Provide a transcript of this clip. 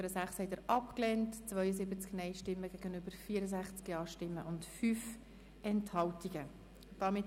Sie haben die Ziffer 6 mit 64 Ja- gegen 72 Nein-Stimmen bei 5 Enthaltungen angenommen.